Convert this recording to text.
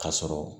Ka sɔrɔ